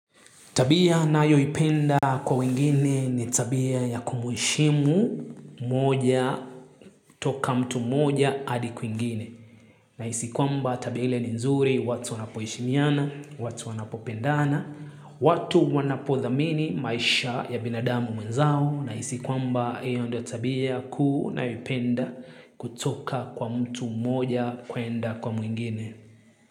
Tabia nayoipenda kwa wengine ni tabia ya kumheshimu moja toka mtu moja adi kwingine. Nahisi kwamba tabia ile ni nzuri watu wanapoheshimiana, watu wanapopendana, watu wanapodhamini maisha ya binadamu mwenzao. Nahisi kwamba hiyo ndio tabia kuu ninayoipenda kutoka kwa mtu moja kwenda kwa mwingine.